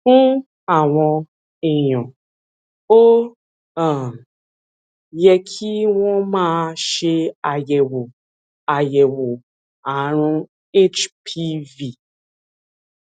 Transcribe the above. fún àwọn èèyàn ó um yẹ kí wón máa ṣe àyèwò àyèwò àrùn hpv